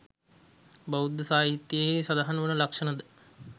බෞද්ධ සාහිත්‍යයෙහි සඳහන් වන ලක්‍ෂණ ද